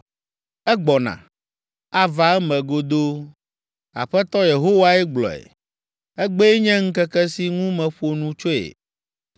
Egbɔna! Ava eme godoo, Aƒetɔ Yehowae gblɔe. Egbee nye ŋkeke si ŋu meƒo nu tsoe.